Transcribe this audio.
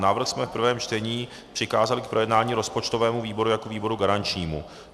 Návrh jsme v prvém čtení přikázali k projednání rozpočtovému výboru jako výboru garančnímu.